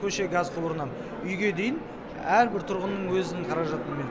көше газ құбырынан үйге дейін әрбір тұрғынның өзінің қаражатымен